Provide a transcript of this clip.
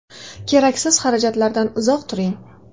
Keraksiz xarajatlardan uzoq turing.